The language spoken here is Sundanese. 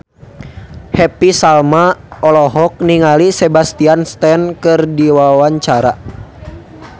Happy Salma olohok ningali Sebastian Stan keur diwawancara